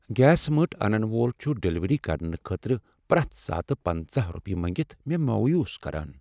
gas مٔٹ انن وول چھ ڈلیوری کرٕنہ خٲطرٕ پرٮ۪تھ ساتہٕ پنَژہَ رۄپیہ مٔنگتھ مےٚ مویوٗس کران